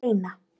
Steina